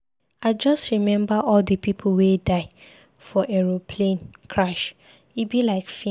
I just remember all the people wey die for aeroplane crash, e be like film.